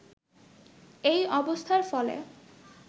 এই অবস্থার ফলে